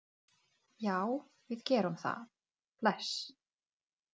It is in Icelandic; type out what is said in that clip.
Það er ekkert á milli þeirra.